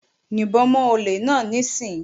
Yìnbọn mọ́ olè náà níìsín!